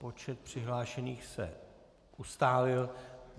Počet přihlášených se ustálil.